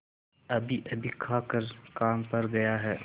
अभीअभी खाकर काम पर गया है